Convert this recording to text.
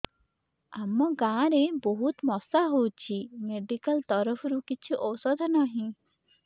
ଆମ ଗାଁ ରେ ବହୁତ ମଶା ହଉଚି ମେଡିକାଲ ତରଫରୁ କିଛି ଔଷଧ ନାହିଁ